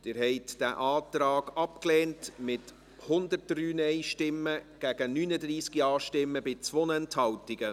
Sie haben diesen Antrag abgelehnt, mit 103 Nein- gegen 39 Ja-Stimmen bei 2 Enthaltungen.